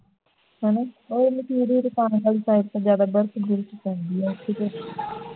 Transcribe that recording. ਹੈ ਨਾ ਓਥੇ ਜ਼ਿਆਦਾ ਬਰਫ ਉਥੇ ਤੇ